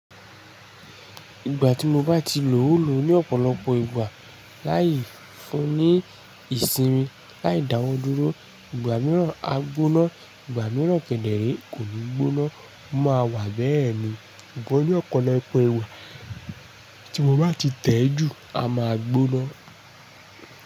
Ìgbà tí mo bá ti lò ó lò ó ní ọ̀pọ̀lọpọ̀ ìgbà láì fún ní ìsinmi, láì dáwọ́ dúró, ìgbà mìíràn á gbóná, ìgbà mìíràn kẹ̀dẹ̀ re kò ní gbóná. Ó máa wà bẹ́ẹ̀ ni sugbon ní ọ̀pọ̀lọpọ̀ ìwà tí mo bá ti tẹ̀jú á máa gbóná.